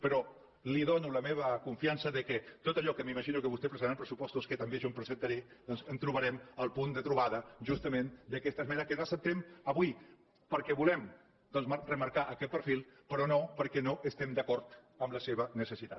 però li dono la meva confiança que tot allò que m’imagino que vostè presentarà en els pressupostos que també jo presentaré doncs trobarem el punt de trobada justament d’aquesta esmena que no acceptem avui perquè volem remarcar aquest perfil però no perquè no estiguem d’acord amb la seva necessitat